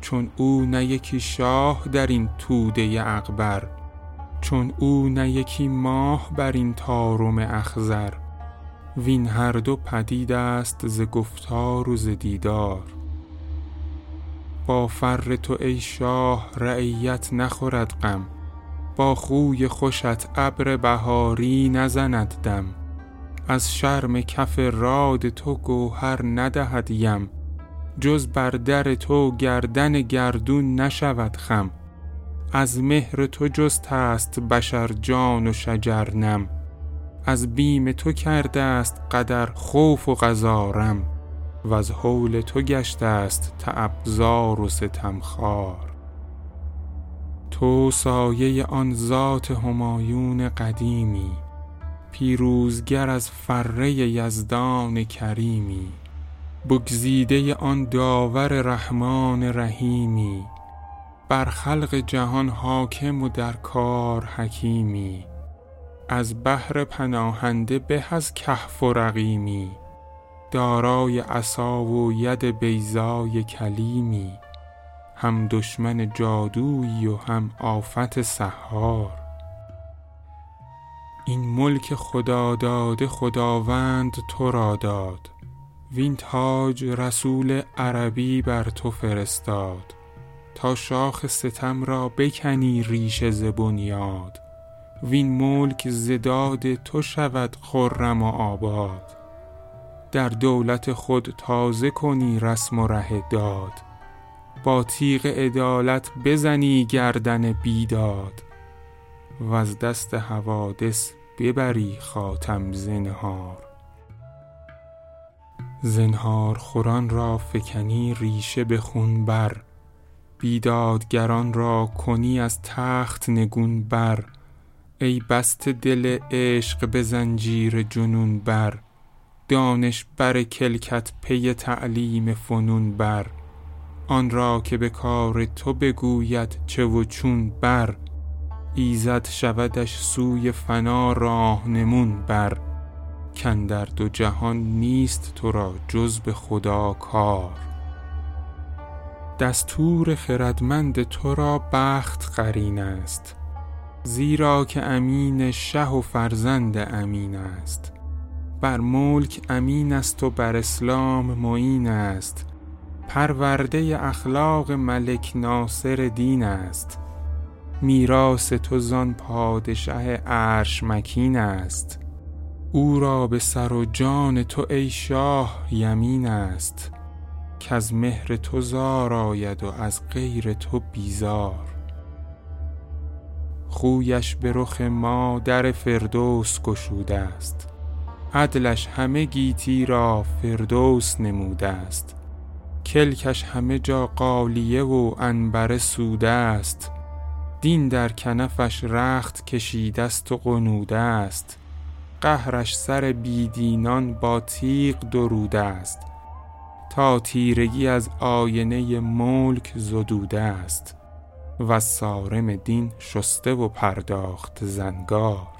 چون او نه یکی شاه درین توده اغبر چون او نه یکی ماه بر این طارم اخضر وین هر دو پدید است ز گفتار و ز دیدار با فر تو ای شاه رعیت نخورد غم با خوی خوشت ابر بهاری نزند دم از شرم کف راد تو گوهر ندهد یم جز بر در تو گردن گردون نشود خم از مهر تو جسته است بشر جان و شجر نم از بیم تو کرده است قدر خوف و قضا رم وز هول تو گشته است تعب زار و ستم خوار تو سایه آن ذات همایون قدیمی پیروزگر از فره یزدان کریمی بگزیده آن داور رحمان رحیمی بر خلق جهان حاکم و در کار حکیمی از بهر پناهنده به از کهف و رقیمی دارای عصاوید بیضای کلیمی هم دشمن جادویی و هم آفت سحار این ملک خداداده خداوند ترا داد وین تاج رسول عربی بر تو فرستاد تا شاخ ستم را بکنی ریشه ز بنیاد وین ملک ز داد تو شود خرم و آباد در دولت خود تازه کنی رسم و ره داد با تیغ عدالت بزنی گردن بیداد وز دست حوادث ببری خاتم زنهار زنهارخوران را فکنی ریشه به خون بر بیدادگران را کنی از تخت نگون بر ای بسته دل عشق به زنجیر جنون بر دانش بر کلکت پی تعلیم فنون بر آن را که به کار تو بگوید چه و چون بر ایزد شودش سوی فنا راهنمون بر کاندر دو جهان نیست ترا جز به خدا کار دستور خردمند ترا بخت قرین است زیرا که امین شه و فرزند امین است بر ملک امین است و بر اسلام معین است پرورده اخلاق ملک ناصر دین است میراث تو زان پادشه عرش مکین است او را به سر و جان تو ای شاه یمین است کز مهر تو زار آید و از غیر تو بیزار خویش به رخ ما در فردوس گشوده است عدلش همه گیتی را فردوس نموده است کلکش همه جا غالیه و عنبر سوده است دین در کنفش رخت کشیده است و غنوده است قهرش سر بی دینان با تیغ دروده است تا تیرگی از آینه ملک زدوده است وز صارم دین شسته و پرداخته زنگار